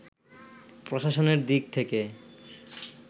প্রশাসনের দিক থেকে